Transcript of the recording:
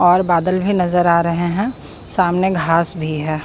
और बादल भी नजर आ रहे हैं सामने घास भी है।